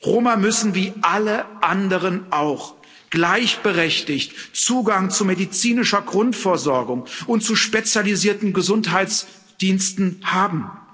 Roma müssen wie alle anderen auch gleichberechtigt Zugang zu medizinischer Grundversorgung und zu spezialisierten Gesundheitsdiensten haben.